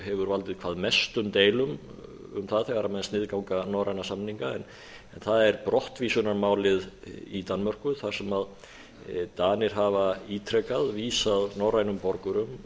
hefur valdið hvað mestum deilum um það þegar menn sniðganga norræna samninga en það er brottvísunarmálið í danmörku þar sem danir hafa ítrekað vísað norrænum borgurum